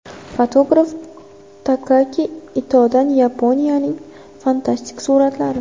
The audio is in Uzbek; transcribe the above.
Fotograf Takaaki Itodan Yaponiyaning fantastik suratlari .